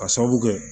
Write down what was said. Ka sababu kɛ